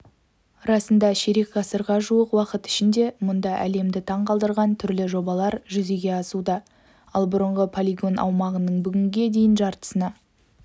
расында ширек ғасырға жуық уақыт ішінде мұнда әлемді таң қалдырған түрлі жобалар жүзеге асуда ал бұрынғы полигон аумағының бүгінге дейін жартысына